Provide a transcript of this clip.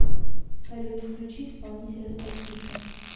салют включи исполнителя спа сити